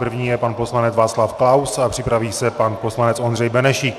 První je pan poslanec Václav Klaus a připraví se pan poslanec Ondřej Benešík.